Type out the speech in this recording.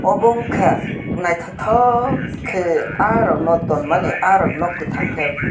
obo ungkha naithothokkhe ah rokno tonmani ah rokno kwthangkhe.